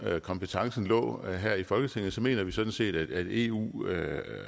kompetencen lå her i folketinget mener vi sådan set at eu